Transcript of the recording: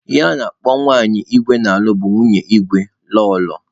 Ihe a na-akpọ nwanyị igwe na-alụ bụ nwunye igwe/ Lọlọ.